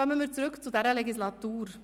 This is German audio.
Kommen wir zurück zu dieser Legislatur: